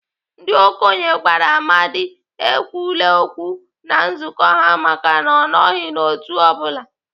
Ndị okenye gwara Amadi ekwule okwu na nzukọ ha maka na ọ nọghị n'otu ọ bụla.